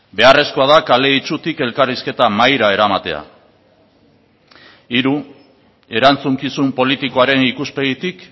beharrezkoa da kale itsutik elkarrizketa mahaira eramatea hiru erantzukizun politikoaren ikuspegitik